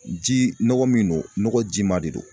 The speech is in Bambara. Ji nɔgɔ min don nɔgɔ jima de don